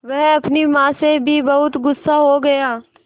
वह अपनी माँ से भी बहुत गु़स्सा हो गया